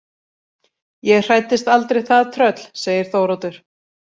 Ég hræddist aldrei það tröll, segir Þóroddur.